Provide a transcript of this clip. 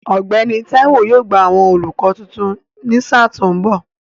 Ọ̀gbẹ́ni Táíwó yóò gba àwọn olùkọ́ tuntun ní sà tó ń bọ̀